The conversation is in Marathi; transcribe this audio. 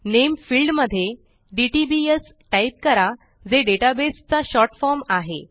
नामे फील्ड मध्ये डीटीबीएस टाइप करा जे डेटा बेस चा शॉर्ट फॉर्म आहे